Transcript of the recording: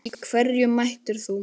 Í hverju mætir þú?